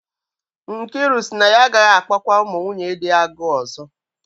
Nkiru sị na ya agaghị akpọkwa ụmụ nwunye dị ya agụụ ọzọ